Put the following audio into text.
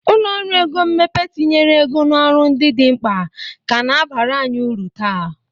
Ụlọ ọrụ ego mmepe tinyere ego n'ọrụ ndị dị mkpa ka na-abara anyị uru taa.